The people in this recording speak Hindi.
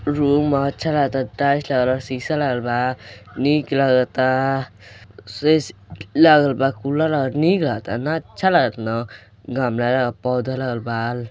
रूम ह अच्छा लागता टाइल्स लागल बा शीशा लागल बा निक लागता लागल बा कूलर लागल बा निक लागता ना अच्छा लागता न गमला लागल बा पौधा लागल बा।